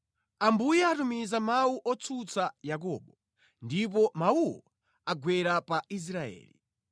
Ambuye atumiza mawu otsutsa Yakobo; ndipo mawuwo agwera pa Israeli.